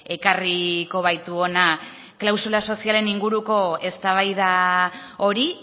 ekarriko baitu hona klausula sozialen inguruko eztabaida hori